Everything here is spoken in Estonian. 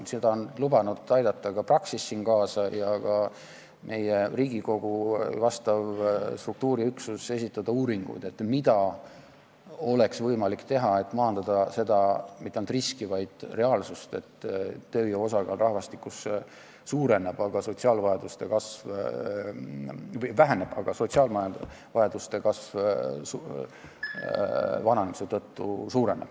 Siin on ka Praxis ja Riigikogu vastav struktuuriüksus lubanud kaasa aidata ja esitada uuringud, et mida oleks võimalik teha, selleks et maandada seda riski, mis tegelikult on reaalsus, et tööjõu osakaal rahvastikus väheneb, aga sotsiaalvajadused rahvastiku vananemise tõttu kasvavad.